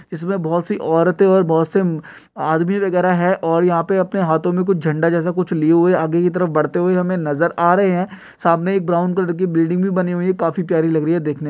और इसमें बहुत सी औरतें और बहुत से आदमी वगैरा है और यहां पे अपने हाथों में झंडा जैसे कुछ लिए हुए आगे की तरफ बढ़ते हुए हमें नजर आ रहे हैं सामने एक ब्राउन कलर की बिल्डिंग भी बनी हुई काफी प्यारी लग रही देखने --